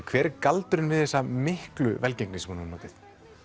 hver er galdurinn á bakvið þessa miklu velgengni sem hún hefur notið